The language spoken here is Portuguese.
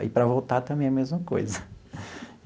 Aí, para voltar, também a mesma coisa.